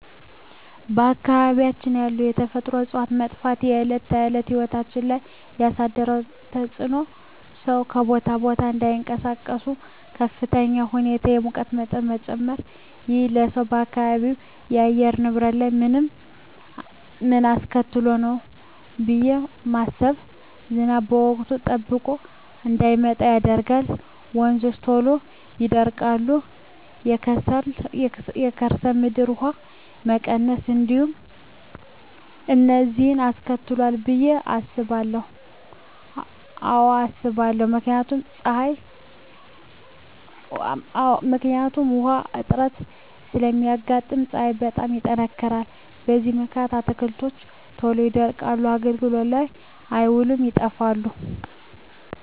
በአካባቢያችን ያሉ የተፈጥሮ እፅዋት መጥፋት በዕለት ተዕለት ሕይወት ላይ ያሣደረው ተፅኖ ሠው ከቦታ ቦታ እዳይንቀሣቀስ፤ በከፍተኛ ሁኔታ የሙቀት መጨመር። ይህ ለውጥ በአካባቢው የአየር ንብረት ላይ ምን አስከትሏል ብየ ማስበው። ዝናብ ወቅቱን ጠብቆ እዳይመጣ ያደርጋል፤ ወንዞች ቶሎ ይደርቃሉ፤ የከርሠ ምድር ውሀ መቀነስ፤ እነዚን አስከትሏል ብየ አስባለሁ። አዎ አስባለሁ። ምክንያቱም ውሀ እጥረት ስለሚያጋጥም፤ ፀሀይ በጣም ይጠነክራል። በዚህ ምክንያት አትክልቶች ቶሎ ይደርቁና አገልግሎት ላይ አይውሉም ይጠፋሉ።